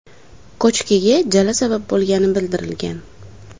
Ko‘chkiga jala sabab bo‘lgani bildirilgan.